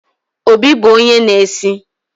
Obi bụ onye na-esi